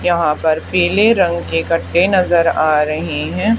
यहां पर पीले रंग के कट्टे नजर आ रहे हैं।